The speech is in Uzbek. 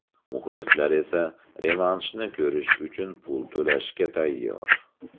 Muxlislar esa revanshni ko‘rish uchun pul to‘lashga tayyor.